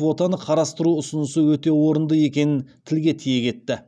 квотаны қарастыру ұсынысы өте орынды екенін тілге тиек етті